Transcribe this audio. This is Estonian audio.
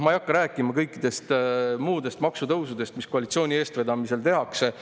Ma ei hakka rääkima kõikidest muudest maksutõusudest, mis koalitsiooni eestvedamisel tehakse.